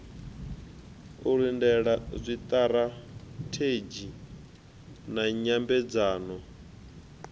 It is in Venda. u lindela zwiṱirathedzhi na nyambedzano